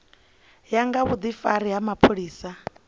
ya nga vhudifari ha mapholisani